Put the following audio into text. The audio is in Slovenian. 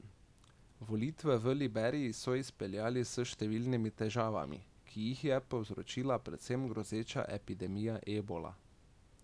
Volitve v Liberiji so izpeljali s številnimi težavami, ki jih je povzročila predvsem grozeča epidemija ebola.